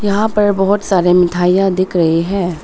यहाँ पर बहुत सारे मिठाईयाँ दिख रही है।